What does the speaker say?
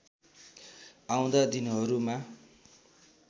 आउँदा दिनहरूमा